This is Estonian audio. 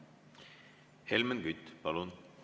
Helmen Kütt, palun!